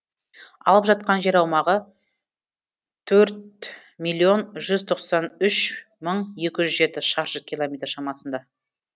алып жатқан жер аумағы төрт миллион жүз тоқсан үш мың екі жүз жеті шаршы километр шамасында